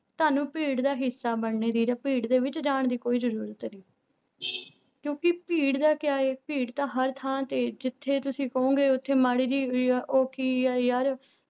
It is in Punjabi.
ਤੁਹਾਨੂੰ ਭੀੜ ਦਾ ਹਿੱਸਾ ਬਣਨੇ ਦੀ ਜਾਂ ਭੀੜ ਦੇ ਵਿੱਚ ਜਾਣ ਦੀ ਕੋਈ ਜ਼ਰੂਰਤ ਨੀ ਕਿਉਂਕਿ ਭੀੜ ਦਾ ਕਿਆ ਹੈ ਭੀੜ ਤਾਂ ਹਰ ਥਾਂ ਤੇ ਹੈ ਜਿੱਥੇ ਤੁਸੀਂ ਕਹੋਂਗੇ ਉੱਥੇ ਮਾੜੀ ਜਿਹੀ ਵੀ ਹੈ ਉਹ ਕੀ ਹੈ ਯਾਰ